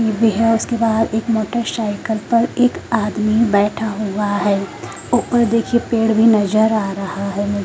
भी हैं उसके पास एक मोटर साइकिल पर एक आदमी बैठा हुआ हैं ऊपर देखिये पेड़ भी नजर आ रहा हैं ।